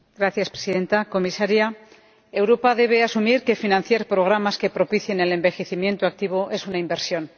Señora Presidenta, Comisaria, Europa debe asumir que financiar programas que propicien el envejecimiento activo es una inversión.